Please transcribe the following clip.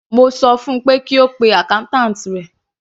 Mo sọ fun pé kí ó pe accountant rẹ̀.